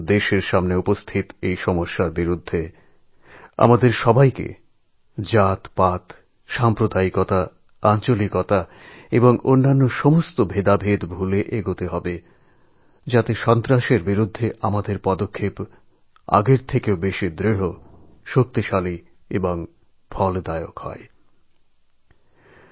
দেশের সামনে উপস্থিত এই চ্যালেঞ্জের মোকাবিলা করার জন্য আমাদের সবাইকে জাতপাত সাম্প্রদায়িকতা আঞ্চলিকতাবাদ এবং বাকি সব মতানৈক্য ভুলে যেতে হবে যাতে সন্ত্রাসের বিরুদ্ধে আমরা আগের চাইতে আরও দৃঢ় শক্তিশালী এবং ফলপ্রসূ পদক্ষেপ নিতে পারি